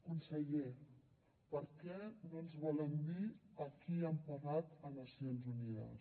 conseller per què no ens volen dir a qui han pagat a nacions unides